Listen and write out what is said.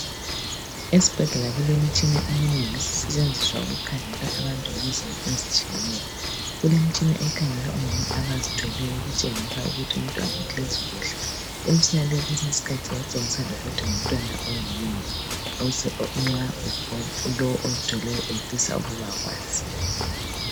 Esibhedlela kulemitshina eminengi esisentshenziswa ukukhangela abantu ngezimo ezitshiyeneyo. Kulemtshina ekhangela omama abazithweleyo ukutshengisa umntwana uhlezi kuhle lokuthi umntwana ngoyini?. Nxa lowu ozithweleyo efisa ukuba kwazi.